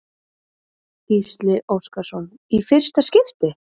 Gísli Óskarsson: Í fyrsta skipti?